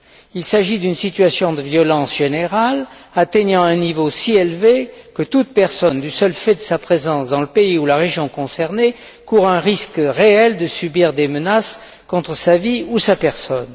il s'agit d'une situation de violence générale atteignant un niveau si élevé que toute personne, du seul fait de sa présence dans le pays ou la région concernés court un risque réel de subir des menaces contre sa vie ou sa personne.